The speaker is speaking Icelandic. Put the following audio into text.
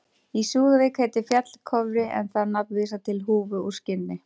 Í Súðavík heitir fjall Kofri en það nafn vísar til húfu úr skinni.